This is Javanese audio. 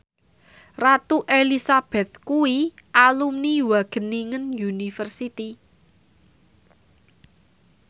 Ratu Elizabeth kuwi alumni Wageningen University